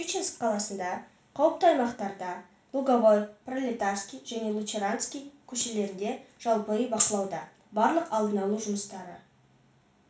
щучинск қаласында қауіпті аймақтарда луговой пролетарский және луначарский көшелерінде жалпы үй бақылауда барлық алдын алу жұмыстары